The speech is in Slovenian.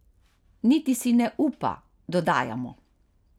Niti si ne upa, dodajamo.